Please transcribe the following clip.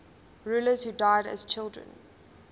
rulers who died as children